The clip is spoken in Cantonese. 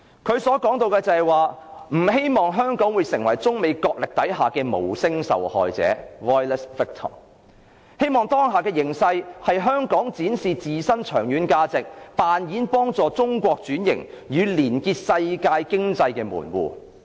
他說"不希望香港成為中美角力下的'無聲受害者'，當下的形勢讓香港有機會展示自身的長遠價值，扮演幫助中國轉型，與連結世界經濟的門戶"。